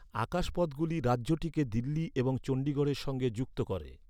আকাশপথগুলি রাজ্যটিকে দিল্লি এবং চণ্ডীগড়ের সঙ্গে যুক্ত করে।